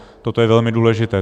Toto je velmi důležité.